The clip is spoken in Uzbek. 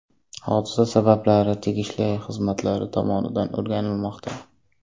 Hodisa sabablari tegishli xizmatlar tomonidan o‘rganilmoqda.